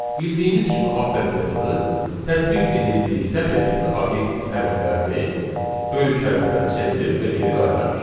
Bildiyimiz kimi upper metodu tətbiq edildiyi sətir tipli obyektin hərflərini böyük hərflərə çevirir və geri qaytarır.